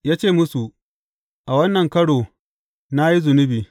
Ya ce musu, A wannan karo na yi zunubi.